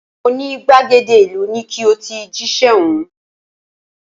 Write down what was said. Mo ní gbàgede ìlú ni ki o ti jíṣẹ́ ọ̀hún